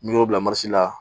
N'i y'o bila la